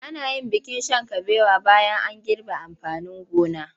Ana yin bikin shan kabewa bayan an girbe amfanin gona.